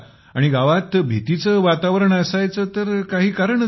आणि गावात भीतीचे वातावरण असायचे तर काही कारणच नाही